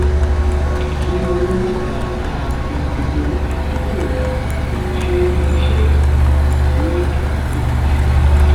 kí wọ́n má bàa máa fi gbogbo àkókò wọn ṣe iṣẹ́ ìsìn ní àgbègbè kan ṣoṣo